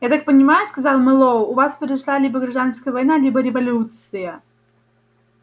я так понимаю сказал мэллоу у вас произошла либо гражданская война либо революция